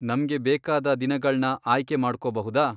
ನಮ್ಗೆ ಬೇಕಾದ ದಿನಗಳ್ನ ಆಯ್ಕೆ ಮಾಡ್ಕೊಬಹುದಾ?